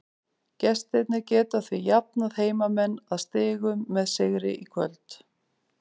Gestirnir geta því jafnað heimamenn að stigum með sigri í kvöld.